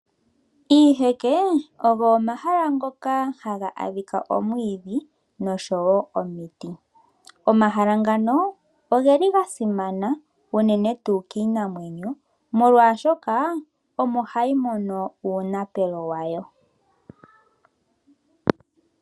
Iiheke ogo omahala ngoka haga adhika omwiidhi nosho woo omiti. Omahala ngano ogeli ga simana unene tuu kiinamwenyo molwaashoka omo hayi mono uunapelo wayo.